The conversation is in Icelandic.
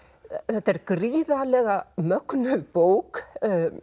þetta er gríðarlega mögnuð bók